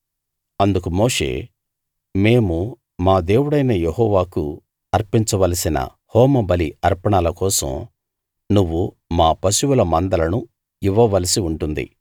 అందుకు మోషే మేము మా దేవుడైన యెహోవాకు అర్పించవలసిన హోమ బలి అర్పణల కోసం నువ్వు మా పశువుల మందలను ఇవ్వ వలసి ఉంటుంది